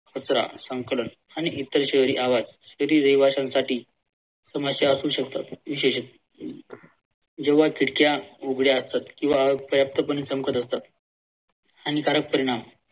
कचरा संकलन आणि इतर शहरी आवाज तेथील रहिवाश्यांसाठी समस्या असू शकतात विशेषतः जेव्हा खिडक्या उघड्या असतात किंवा पर्याप्त पणे चमकत असतात. हानिकारक परिमाण